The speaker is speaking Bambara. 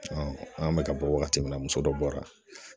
an bɛ ka bɔ wagati min na muso dɔ bɔra